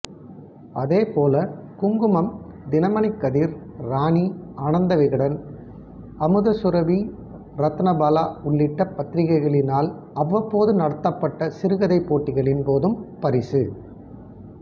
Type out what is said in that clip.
அதேபோல குங்குமம் தினமணிக்கதிர் ராணி ஆனந்தவிகடன் அமுதசுரபிரத்னபால உள்ளிட்ட பத்திரிகைகளினால் அவவப்போது நடத்தப்பட்ட சிறுகதைப் போட்டிகளின் போதும் பரிசு